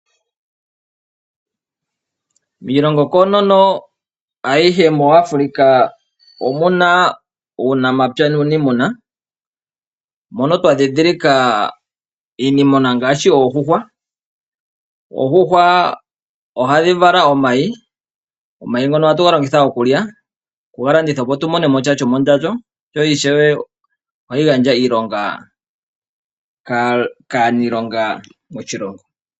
Miilongo koonono ayihe muAfrica omuna uunamapya nuunimuna mono twa dhidhilika iimuna ngaashi oondjuhwa. Oondjuhwa ohadhi vala omayi, omayi ngoka ohatu galongitha okulya noku galandithapo opo tumonemo sha shomondjato no ishewe ohadhi gandja iilonga kaanilonga moshilongo.